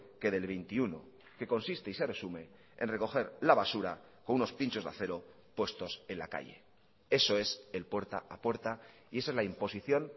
que del veintiuno que consiste y se resume en recoger la basura con unos pinchos de acero puestos en la calle eso es el puerta a puerta y esa es la imposición